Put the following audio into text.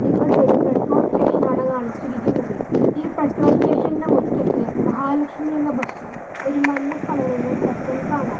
ഇവിടെ ഒരു petrol station ആണ് കാണിച്ചിരിക്കുന്നത് ഈ പെട്രോൾ സ്റ്റേഷനിൽ മുറ്റത്ത് മഹാലക്ഷ്മി എന്ന ബസ്സും ഒരു മഞ്ഞ കളറുള്ള ട്രക്ക് കാണാം.